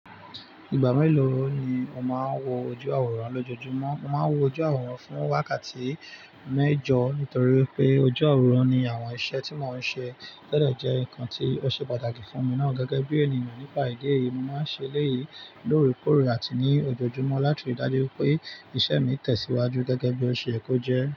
Ìgbà mélòó ni o máa ń wo ojú àwòrán lójoojúmọ́? Mo máa ń wo ojú àwòrán fún wákàtí mẹ́jọ nítorí pé ojú àwòrán ní àwọn iṣẹ́ tí mò ń ṣe tọ́n jẹ́ nǹkan tí ó ṣe pàtàkì fún mi náà gẹ́gẹ́ bí ènìyàn. Nípa ìdí èyí, mo máa ń ṣe eléyìí lóòrèkóòrè àti ní ojoojúmọ́ láti ri dájú pé isẹ́ mi tẹ̀síwájú gẹ́gẹ́ bí o ṣe yẹ kó jẹ́